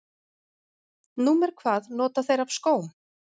Númer hvað nota þeir af skóm?